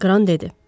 Gran dedi.